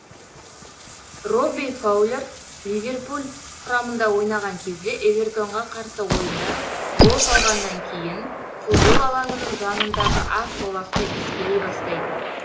робби фаулер ливерпуль құрамында ойнаған кезде эвертон ға қарсы ойында гол салғаннан кейін футбол алаңының жаныдағы ақ жолақты иіскелей бастайды